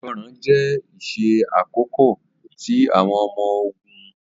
Ìgbọràn jẹ iṣẹ akọkọ ti awọn ọmọ-ogun.